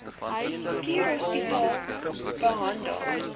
schuur hospitale behandel